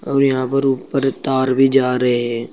और यहां पर ऊपर तार भी जा रहे हैं।